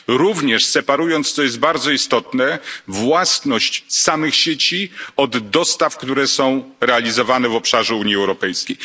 Również separując, co jest bardzo istotne, własność samych sieci od dostaw, które są realizowane w obszarze Unii Europejskiej.